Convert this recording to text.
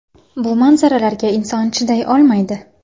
Bu manzaralarga inson chiday olmaydi.